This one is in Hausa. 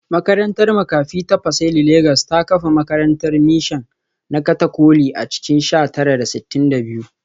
Makarantar makafi ta Pacelli Legas ta kafa makarantar mishan na Katolika a cikin sha tara da sittin da biyu